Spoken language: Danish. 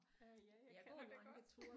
Øh ja jeg kender det godt